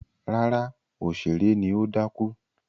Rárá, òṣèré ni ó dákú.